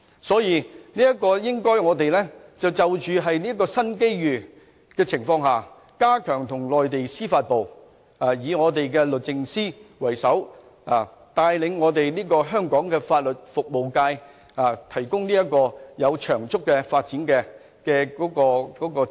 所以，我們應該善用這個新機遇加強與內地司法部溝通，由我們的律政司為首，帶領香港的法律服務界作長足發展。